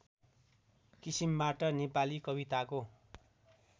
किसिमबाट नेपाली कविताको